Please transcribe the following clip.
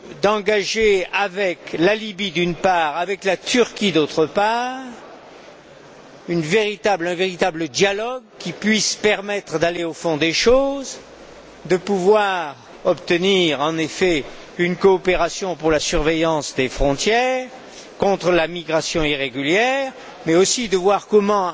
d'engager avec la Libye, d'une part, et avec la Turquie d'autre part, un véritable dialogue qui puisse permettre d'aller au fond des choses, de pouvoir obtenir, en effet, une coopération pour la surveillance des frontières contre la migration irrégulière, mais aussi de voir comment,